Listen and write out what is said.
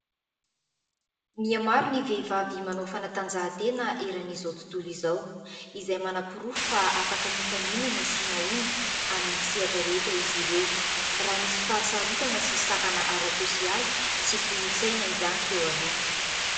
Mihamaro ny vehivavy manao fanatanjahantena eran'izao tontolo izao ; izay manaporofo fa afaka mifaninana sy mahomby amin'ny sehatra rehetra izy ireo raha nisy fahasarotana sy sakana ara-tsôsialy sy kolontsaina izany teo aloha.